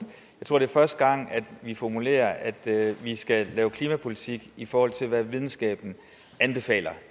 jeg tror det er første gang vi formulerer at vi skal lave klimapolitik i forhold til hvad videnskaben anbefaler